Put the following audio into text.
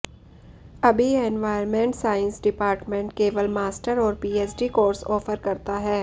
अभी environment science department केवल master और पीएचडी कोर्स ऑफर करता है